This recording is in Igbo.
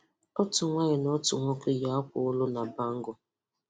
Otu nwanyị na otu nwoke yi akwa olu na bangle.